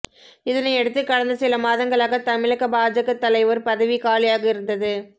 இதனையடுத்து கடந்த சில மாதங்களாக தமிழக பாஜக தலைவர் பதவி காலியாக இருந்தது